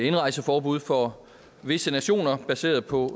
indrejseforbud for visse nationer baseret på